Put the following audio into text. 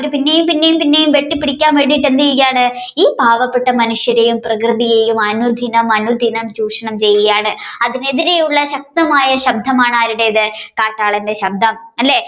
അവർ പിന്നെയും പിന്നെയും വെട്ടിപിടിക്കാനായിട്ട് എന്ത് ചെയുകയാണ് ഈ പാവപെട്ട മനുഷ്യരെയും പ്രകൃതിയെയും അനുദിനം അനുദിനം ചൂഷണം ചെയ്യുകയാണ് അതിനെതിരെയുള്ള ശക്തയായ ശബ്ധമാണ് ആരുടേത് കാട്ടാളന്റെ ശബ്ദം അല്ലെ